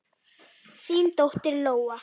Þín dóttir, Lóa.